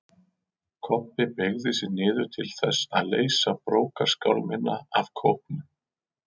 Kobbi beygði sig niður til þess að leysa brókarskálmina af kópnum.